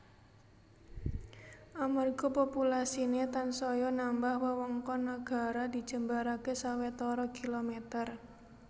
Amarga populasiné tansaya nambah wewengkon nagara dijembaraké sawetara kilomèter